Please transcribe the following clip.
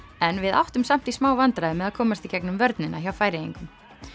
en við áttum samt í smá vandræðum með að komast í gegnum vörnina hjá Færeyingum